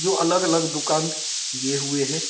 जो अलग-अलग दुकान किये हुए है।